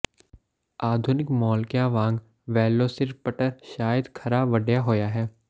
ਆਧੁਨਿਕ ਮੌਲਿਕਾਂ ਵਾਂਗ ਵੈਲਓਸਿਰਪਟਰ ਸ਼ਾਇਦ ਖਰਾ ਵਢਿਆ ਹੋਇਆ ਹੈ